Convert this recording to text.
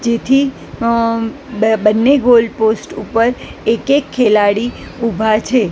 જેથી અ બંને ગોલ પોસ્ટ ઉપર એક એક ખેલાડી ઊભા છે.